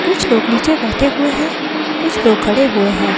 कुछ लोग नीचे बैठे हुए हैं कुछ लोग खड़े हुए हैं।